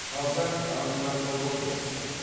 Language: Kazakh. қазақ антропологиясы